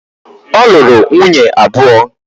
Ọ lụrụ nwunye abụọ?